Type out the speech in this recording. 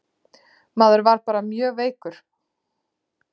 Maður var bara mjög veikur.